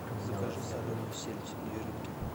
закажи соленую сельдь две рыбки